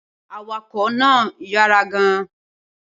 Awakọ̀ náà yára gan-an